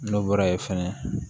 N'o bɔra yen fɛnɛ